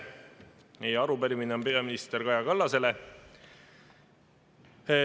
Meie arupärimine on peaminister Kaja Kallasele.